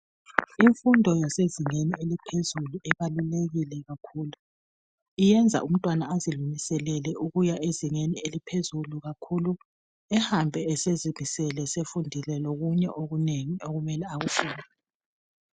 Imfundo yasezingeni eliphezulu ibalulekile kakhulu iyenza umtwana azilungiselele ukuya ezingeni eliphezulu kakhulu ehambe esezimisele sefundile lokunye okunengi okumele akufunde